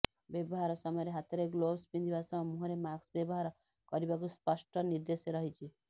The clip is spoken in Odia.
ବ୍ୟବହାର ସମୟରେ ହାତରେ ଗ୍ଲୋଭସ ପିନ୍ଧିବା ସହ ମୁଁହରେ ମାସ୍କ ବ୍ୟବହାର କରିବାକୁ ସ୍ପଷ୍ଟ ନିର୍ଦ୍ଦେଶ ରହିଛି